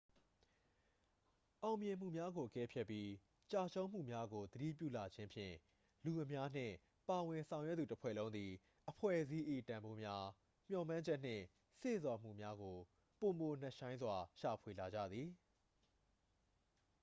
အောင်မြင်မှုများကို အကဲဖြတ်ပြီး ကျရှုံးမှုများကို သတိပြုလာခြင်းဖြင့် လူအများနှင့် ပါဝင်ဆောင်ရွက်သူ တစ်ဖွဲ့လုံးသည် အဖွဲ့အစည်း၏ တန်ဖိုးများ မျှော်မှန်းချက်နှင့် စေ့ဆော်အားများကို ပိုနက်ရှိုင်းစွာ ရှာဖွေလာကြသည်